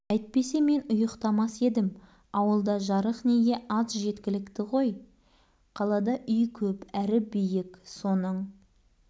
әйтпесе мен ұйықтамас едім ауылда жарық неге аз жеткілікті ғой қалада үй көп әрі биік соның